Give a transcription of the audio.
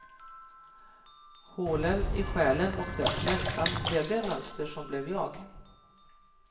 Hålen i själen och dess längtan blev det mönster som blev jag.